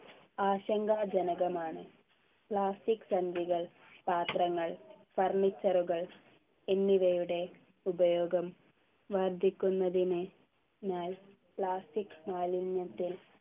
ആശങ്കാജനകമാണ് plastic സഞ്ചികൾ പാത്രങ്ങൾ furniture കൾ എന്നിവയുടെ ഉപയോഗം വർധിക്കുന്നതിന് നാൽ plastic മാലിന്യത്തെ